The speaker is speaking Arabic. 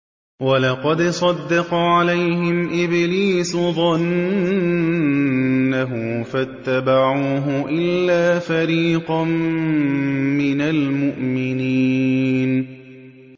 وَلَقَدْ صَدَّقَ عَلَيْهِمْ إِبْلِيسُ ظَنَّهُ فَاتَّبَعُوهُ إِلَّا فَرِيقًا مِّنَ الْمُؤْمِنِينَ